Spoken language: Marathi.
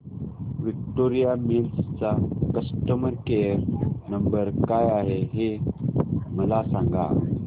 विक्टोरिया मिल्स चा कस्टमर केयर नंबर काय आहे हे मला सांगा